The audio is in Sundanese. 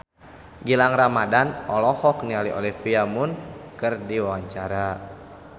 Gilang Ramadan olohok ningali Olivia Munn keur diwawancara